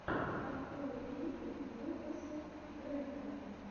открой клипы лукаса грэхэма